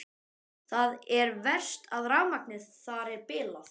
Það er verst að rafmagnið þar er bilað.